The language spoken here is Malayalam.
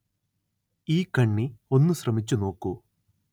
ഈ കണ്ണി ഒന്നു ശ്രമിച്ചു നോക്കൂ